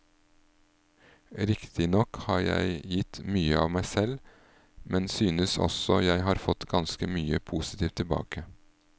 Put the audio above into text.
Riktignok har jeg gitt mye av meg selv, men synes også jeg har fått ganske mye positivt tilbake.